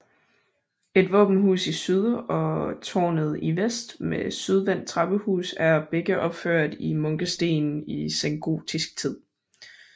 Et våbenhus i syd og tårnet i vest med sydvendt trappehus er begge opført i munkesten i sengotisk tid